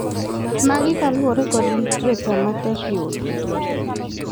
Magi kaluore kod literature matek yudo.